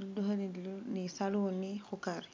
liduha ilindi lili ni saluni hukari